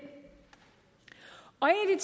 og